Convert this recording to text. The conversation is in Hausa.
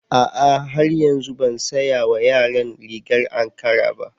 A'a har yanzu ban saya wa yaran rigar ankara ba.